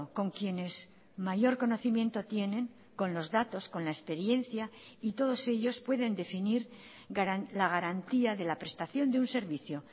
con quienes mayor conocimiento tienen con los datos con la experiencia y todos ellos pueden definir la garantía de la prestación de un servicio